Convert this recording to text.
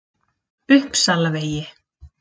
Uppsalavegi